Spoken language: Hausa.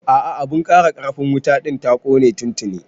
A'a abun ƙara ƙarfin wuta ɗin ta kone tuntini